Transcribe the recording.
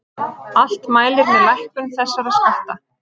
Allt mælir með lækkun þessara skatta